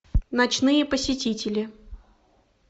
ночные посетители